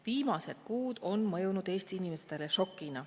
Viimased kuud on mõjunud Eesti inimestele šokina.